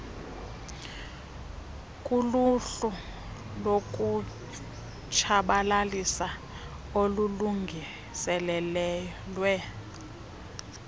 kuluhlu lokutshabalalisa olulungiselelwe